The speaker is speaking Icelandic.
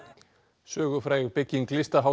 sögufræg bygging